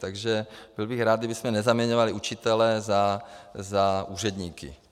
Takže byl bych rád, kdybychom nezaměňovali učitele za úředníky.